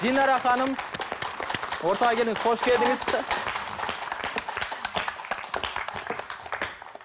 динара ханым ортаға келіңіз қош келдіңіз